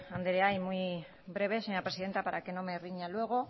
andrea y muy breve señora presidenta para que no me riña luego